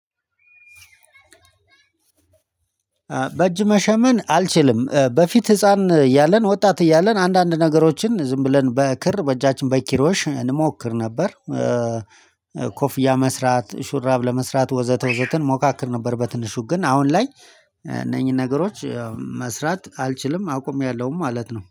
በእጅ መሸመን አልችልም በፊት ህፃን እያለን ወጣት እያለን አንዳንድ ነገሮችን ዝም ብለን በክር በእጃችን በኪሮሽ እንሞክር ነበር። ኮፍያ መስራት ሹራብ ለመስራት ወዘተ ወዘተ እንሞካክር ነበር በትንሹ ግን አሁን ላይ እነኚህን ነገሮች መስራት አልችልም አቁሜያለሁ ማለት ነው